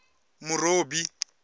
murobi